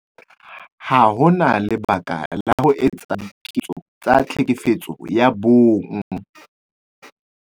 Ha ho na lebaka la ho etsa diketso tsa Tlhekefetso ya Bong